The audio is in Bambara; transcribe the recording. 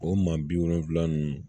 O maa bi wolonwula ninnu